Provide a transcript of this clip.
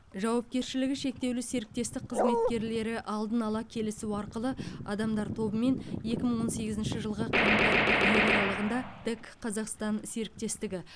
жауапкершілігі шектеулі серіктестік қызметкерлері алдын ала келісу арқылы адамдар тобымен екі мың он сегізінші жылғы қаңтар қыркүйек аралығында тэк қазақстан серіктестігі